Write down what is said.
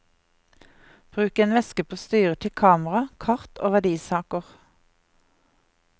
Bruk en veske på styret til kamera, kart og verdisaker.